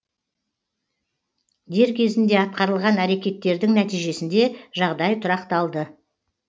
дер кезінде атқарылған әрекеттердің нәтижесінде жағдай тұрақталды